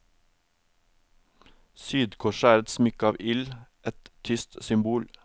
Sydkorset er et smykke av ild, et tyst symbol.